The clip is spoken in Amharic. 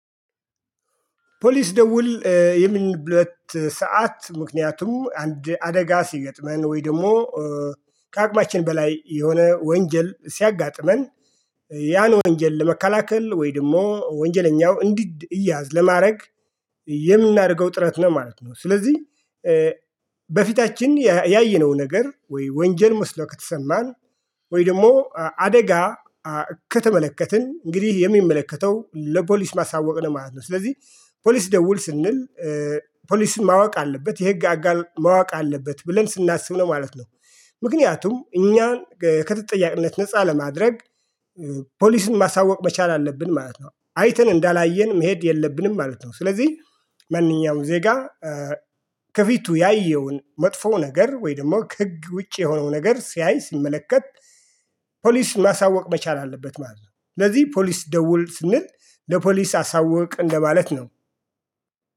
ፖሊስ ደውል የምንልበት ሰዓት ምክንያቱም አንድ አደጋ ሲገጥመን ወይ ደግሞ ከአቅማችን በላይ የሆነ ወንጀል ሲያጋጥመን። ያን ወንጀል ለመከላከል ወይ ደግሞ ወንጀለኛው እንዲያዝ ለማድረግ የምናደርገው ጥረት ነው ማለት ነው። ስለዚህ በፊታችን ያየነው ነገር ወይ ወንጀል መስሎ ከተሰማን ወይ ደግሞ አደጋ ከተመለከትን እንግዲህ የሚመለከተው ለፖሊስ ማሳወቅ ነው ማለት ነው። ስለዚህ ፖሊስ ደውል ስንል ፖሊስን ማወቅ አለበት የህግ አካል ማወቅ አለበት ብለን ስናስብ ነው ማለት ነው። ምክንያቱም እኛን ከተጠያቅነት ነፃ ለማድረግ ፖሊሱን ማሳወቅ መቻል አለብን ማለት ነው። አይተን እንዳላየን መሄድ የለብንም ማለት ነው። ስለዚህ ማንኛውም ዜጋ ከፊቱ ያየውን መጥፎ ነገር ወይ ደግሞ ከህግ ውጪ የሆነው ነገር ሲያይ ሲመለከት ፖሊስ ማሳወቅ መቻል አለበት ማለት ነው። ስለዚህ ፖሊስ ደውል ስንል ለፖሊስ አሳውቅ እንደማለት ነው